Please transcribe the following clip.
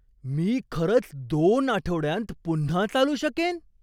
मी खरंच दोन आठवड्यांत पुन्हा चालू शकेन?